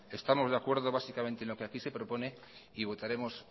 estamos de acuerdo básicamente en lo que aquí se propone y votaremos